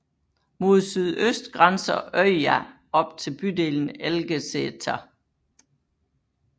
Mod sydøst grænser Øya op til bydelen Elgeseter